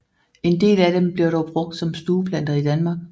En del af dem bliver dog brugt som stueplanter i Danmark